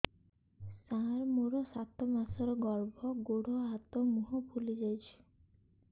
ସାର ମୋର ସାତ ମାସର ଗର୍ଭ ଗୋଡ଼ ହାତ ମୁହଁ ଫୁଲି ଯାଉଛି